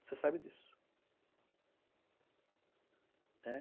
Você sabe disso, né?